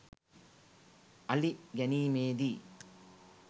අලි ගැනීමේ දී